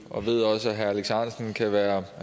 og ved også at herre alex ahrendtsen kan være